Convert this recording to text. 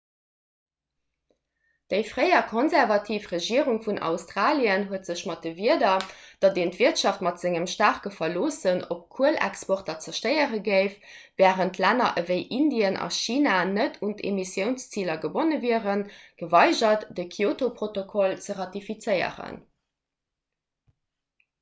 déi fréier konservativ regierung vun australien huet sech mat de wierder datt een d'wirtschaft mat sengem staarke verloossen op kuelexporter zerstéiere géif wärend länner ewéi indien a china net un d'emissiounsziler gebonne wieren geweigert de kyoto-protokoll ze ratifizéieren